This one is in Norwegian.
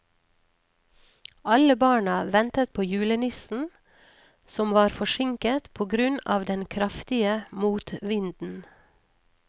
Alle barna ventet på julenissen, som var forsinket på grunn av den kraftige motvinden.